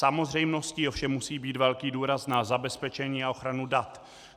Samozřejmostí ovšem musí být velký důraz na zabezpečení a ochranu dat.